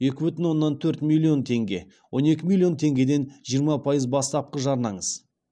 екі бүтін оннан төрт миллион теңге он екі миллион теңгеден жиырма пайыз бастапқы жарнаңыз